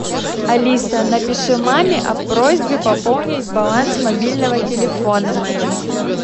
алиса напиши маме о просьбе пополнить баланс мобильного телефона моего